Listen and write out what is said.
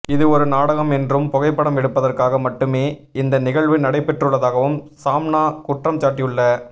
இது ஒரு நாடகம் என்றும் புகைப்படம் எடுப்பதற்காக மட்டுமே இந்த நிகழ்வு நடைபெற்றுள்ளதாகவும் சாம்னா குற்றம்சாட்டியுள்ள